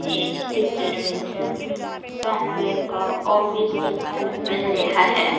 ਇਸ ਪਿਕਚਰ ਵਿੱਚ ਸਾਨੂੰ ਇੱਕ ਔਫ਼ਿਸ ਦੇਖਣ ਨੂੰ ਮਿਲ ਰਿਹਾ ਹੈ।